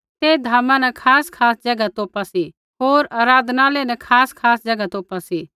ते धामा न खासखास ज़ैगा तौपा सी होर आराधनालय न खासखास ज़ैगा तोपा सी